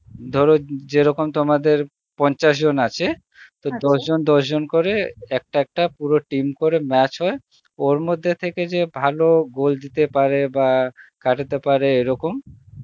ধর যেরকম তোমাদের পঞ্চাশ জন আছে জন দশ জন করে একটা একটা পুরো team করে match হয়, ওর মধ্যে থেকে যে ভালো গাল দিতে পারে বা কাটাতে পারে এরকম